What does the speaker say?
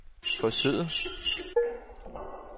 forsøget